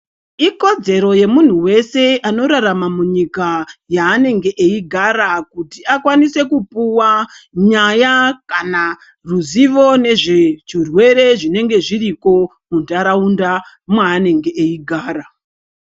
Ikodzero yemuntu weshe unorarama munyika yaanenge eigara kuti akwanise kupuwa nyaya kana ruzivo nezvechirwere zvinenge zviriko muntaraunda mweanenge eigara.